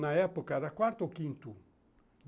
Na época era quarto ou quinto.